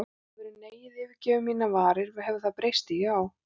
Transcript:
Áður en neiið yfirgefur varir mínar hefur það því breyst í já.